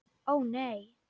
Ó, nei.